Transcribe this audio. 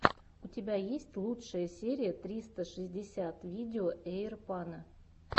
у тебя есть лучшая серия тристра шестьдесят видео эйрпано